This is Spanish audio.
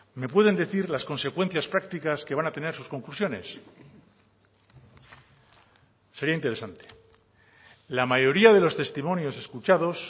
me pueden decir las consecuencias prácticas que van a tener sus conclusiones sería interesante la mayoría de los testimonios escuchados